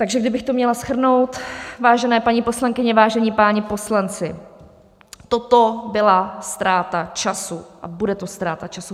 Takže kdybych to měla shrnout, vážené paní poslankyně, vážení páni poslanci, toto byla ztráta času a bude to ztráta času.